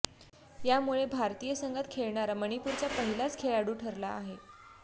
यामुळे भारतीय संघात खेळणारा मणिपूरचा पहिलाच खेळाडू ठरला आहे